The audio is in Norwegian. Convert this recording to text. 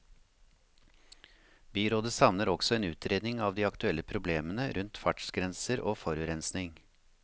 Byrådet savner også en utredning av de aktuelle problemene rundt fartsgrenser og forurensning.